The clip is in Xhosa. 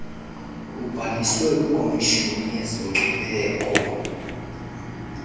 abhaliswe kwikomishoni yezenkcubeko